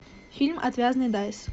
фильм отвязный дайс